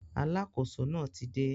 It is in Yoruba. Alákóso náà ti dé